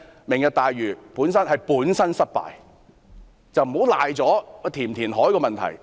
"明日大嶼"是本身失敗，而這與應否填海的問題無關。